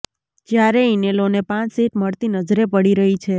જ્યારે ઈનેલોને પાંચ સીટ મળતી નજરે પડી રહી છે